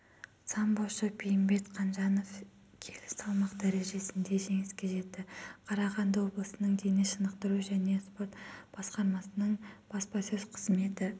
самбошы бейімбет қанжанов келі салмақ дәрежесінде жеңіске жетті қарағанды облысының дене шынықтыру және спорт басқармасының баспасөз-қызметі